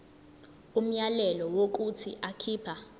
umyalelo wokuthi akhipha